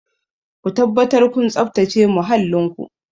Ku tabbatar kun tsabtace muhallin ku!